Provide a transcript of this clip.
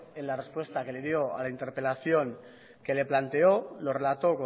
en la respuesta que le dio a la interpelación que le planteó lo relató